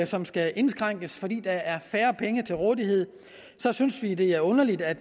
som skal indskrænkes fordi der er færre penge til rådighed så synes vi det er underligt at